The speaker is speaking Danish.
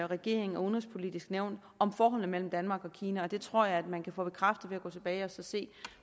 regeringen og udenrigspolitisk nævn om forholdene mellem danmark og kina og det tror jeg at man kan få bekræftet ved at gå tilbage og se